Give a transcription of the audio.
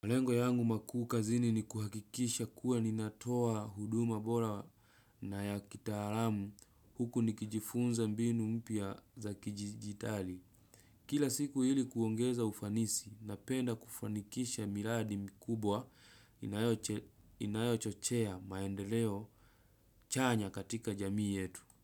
Malengo yangu makuu kazini ni kuhakikisha kuwa ninatoa huduma bora na ya kitaalamu huku nikijifunza mbinu mpya za kidijitali. Kila siku ili kuongeza ufanisi, napenda kufanikisha miradi mikubwa inayochochea maendeleo chanya katika jamii yetu.